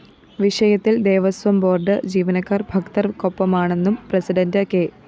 വിഷയത്തില്‍ ദേവസ്വംബോര്‍ഡ് ജീവനക്കാര്‍ ഭക്തര്‍ക്കൊപ്പമാണെന്നും പ്രസിഡന്റ് കെ